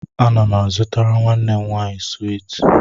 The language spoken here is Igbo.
Ana m a zụtara nwanne m nwaanyị swiiti